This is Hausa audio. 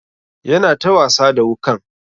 Yana ta wasa da wukan.